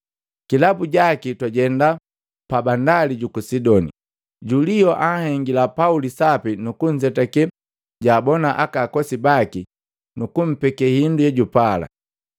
Kilabu jaki twajema pabandali juku Sidoni. Julio anhengila Pauli sapi nukunzetake jaabona akakosi baki, nuku mpeke hindu yejupala.